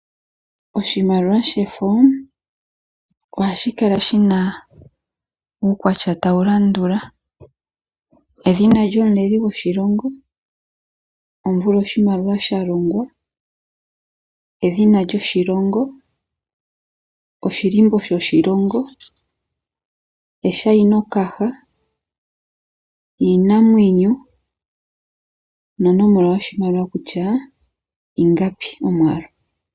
Oshimaliwa shefo ohashi kala shina uukwatya tawu landula: edhina lyomuleli goshilongo, omvula oshimaliwa sha longwa, edhina lyoshilongo, oshihako shoshilongo, eshainokaha, iinamwenyo nonomola yoshimaliwa kutya ingapi.